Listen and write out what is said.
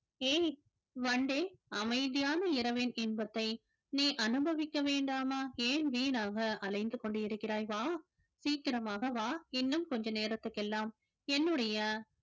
ஏய் வண்டே அமைதியான இரவின் இன்பத்தை நீ அனுபவிக்க வேண்டாமா ஏன் வீணாக அலைந்து கொண்டிருக்கிறாய் வா சீக்கிரமாக வா இன்னும் கொஞ்ச நேரத்துக்கு எல்லாம் என்னுடைய